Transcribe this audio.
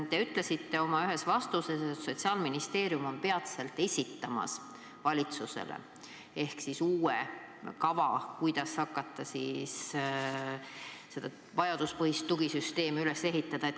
Te ütlesite ühes oma vastuses, et Sotsiaalministeerium esitab peatselt valitsusele uue kava selle kohta, kuidas hakata vajaduspõhist tugisüsteemi üles ehitama.